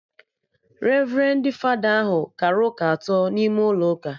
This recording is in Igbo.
Revrendi fada ahụ kara ụka atọ n'ime ụlọ ụka